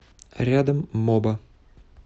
рядом моба